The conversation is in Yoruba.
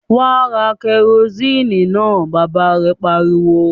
"Wà á ra kẹrósíínì náà!" Bàbá rẹ̀ pariwo.